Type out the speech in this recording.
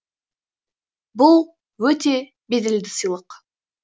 бұл өте беделді сыйлық